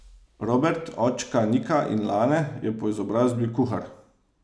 Robert, očka Nika in Lane, je po izobrazbi kuhar.